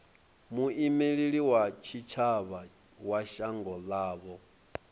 muimeli wa tshitshavha wa shango ḽavho